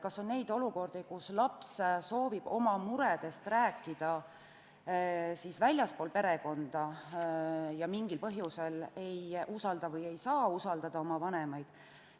Kas on neid olukordi, kus laps soovib oma muredest rääkida väljaspool perekonda ja mingil põhjusel ei usalda või ei saa usaldada oma vanemaid?